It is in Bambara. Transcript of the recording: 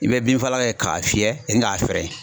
I bɛ binfagalan kɛ k'a fiyɛ ni k'a fɛrɛ